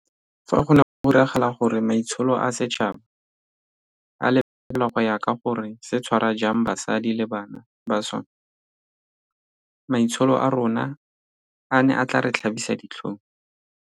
Fa go ne go diragala gore maitsholo a setšhaba a lebelelwa go ya ka gore se tshwara jang basadi le bana ba sona, maitsholo a rona a ne a tla re tlhabisa ditlhong.